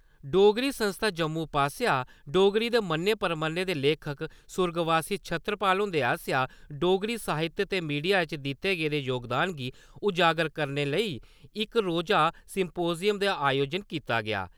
डोगरी संस्था जम्मू पासेआ डोगरी दे मन्ने परमन्ने दे लेखक सुर्गवासी छतरपाल हुंदे आसेआ डोगरी साहित्य ते मीडिया च दित्ते गेदे जोगदान गी उजागर करने लेई इक रोजा सिम्पोज़ियम दा आयोजन कीता गेआ।